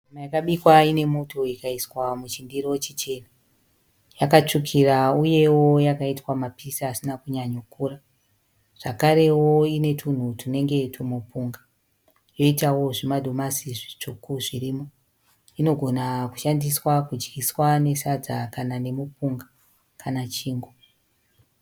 Nyama yakabikwa inemuto ikaiswa muchindiro chichena. Yakatsvukira uyewo yakaitwa mapisi asina kunyanyokura, zvakarewo inetunhu tunenge tumupunga, yoitawo zvimadomasi zvitsvuku zvirimo. Inogona kushandiswa kudyiswa nesadza kana nemupunga, kana chingwa.